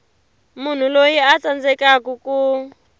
munhu loyi a tsandzekaku ku